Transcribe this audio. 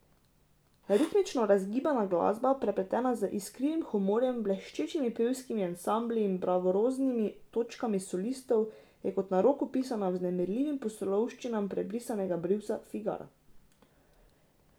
Ritmično razgibana glasba, prepletena z iskrivim humorjem, bleščečimi pevskimi ansambli in bravuroznimi točkami solistov, je kot na roko pisana vznemirljivim pustolovščinam prebrisanega brivca Figara.